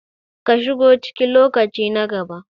ka shigo ciki lokaci na gaba